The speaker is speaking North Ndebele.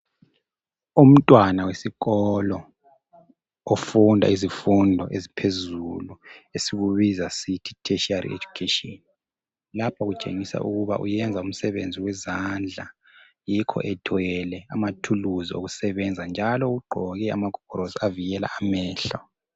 Umntwana wesikolo ofunda izifundo eziphezulu esikubiza sithi yi tertiary education .Lapha kutshengisa ukuba uyenza umsebenzi wezandla .Yikho ethwele amathuluzi okusebenza njalo ugqoke amagogorosi avikela amehlo.